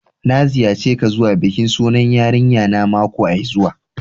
N'na ziyace ka zuwa bikin sunan yarinya na makoai zuwa.